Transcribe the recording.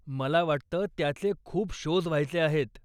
मला वाटतं त्याचे खूप शोज व्हायचे आहेत.